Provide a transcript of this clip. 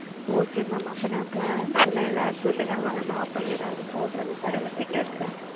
okay mam அப்போ flannel சொல்லுங்க ந போடுகிற mam உங்களுக்கு மட்டும்